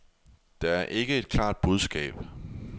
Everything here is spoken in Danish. Der er ikke et klart budskab.